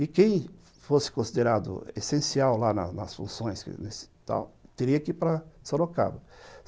E quem fosse considerado essencial lá nas funções, tal, teria que ir para Sorocaba.